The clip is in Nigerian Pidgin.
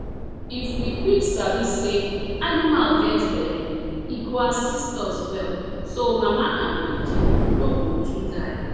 if we quick sabi say animal get belle e go assist us well so mama and pikin no go too die